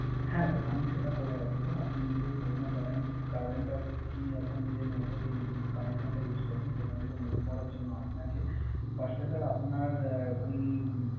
হ্যা স্যার আমি সেটা বলে রাখি স্যার আপনি যে পুরনো Current আর কি যে Network connection টা Use করছেন সেখান থেকে Move করার জন্য আপনাকে